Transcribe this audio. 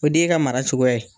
O de y'i ka mara cogoya